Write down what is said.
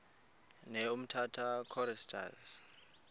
ne umtata choristers